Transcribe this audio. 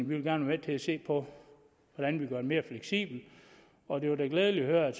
vil være med til at se på hvordan vi gør ordningen mere fleksibel og det var da glædeligt at høre at